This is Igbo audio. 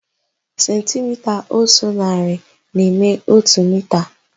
Sentimita ótù narị na-eme ótù mita.